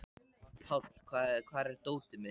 Páll, hvar er dótið mitt?